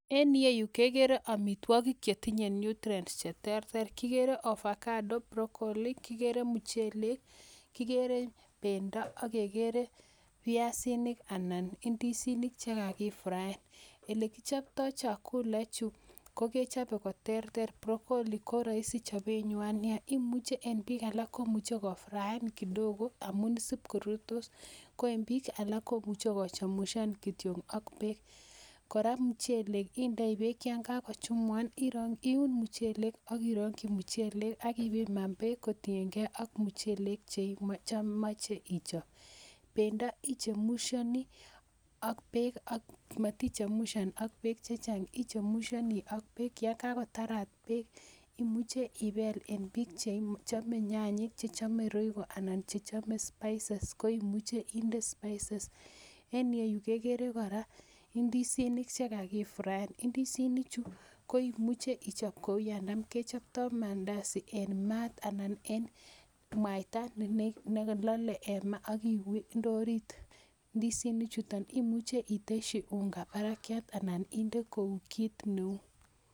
En ireyu kegere amitwogik che tinye nutrients che terter: kigere avocado, brocolli, kigere muchelek, kigere bendo ak kegere piasinik anan indisinik che kagifraen. Ele kichopto chakula ichu, ko kechobe koterter, broccoli ko roisi chobenywan nyaa, en bik alak komuche kofraen kidogo amun sib korurtos. Ko en biik alak komuche ko chemsha kityok ak beek. Kora, muchelek indoi beek yon kogochumukan iun muchelek ak irongi muchelek ak ipiman beek kotienge ak muchelek che imoche ichob. Bendo ichemushoni ak beek, ak matichemushan ak beek che chang ii chemushoni ak beek yon kagotarat beek imuche ibel. En bik che chome nyanyik, che chome royco anan che chome spices spices koimuche inde spices . En ireyu kegere kora indisinik che kagifraen, indisinichu koimuche ichob kou yon tamkechopto mandazi en maat anan en mwaita ne lole en maa ak inde orit indisinichuton . Imuche itesyi unga barakyat anan inde kou kit neu.